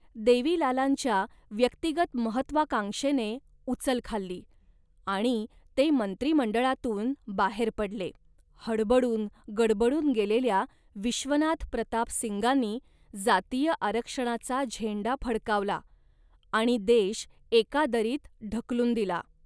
देवीलालांच्या व्यक्तिगत महत्त्वाकांक्षेने उचल खाल्ली आणि ते मंत्रिमंडळातून बाहेर पडले. हडबडून गडबडून गेलेल्या विश्वनाथ प्रताप सिंगांनी जातीय आरक्षणाचा झेंडा फडकावला आणि देश एका दरीत ढकलून दिला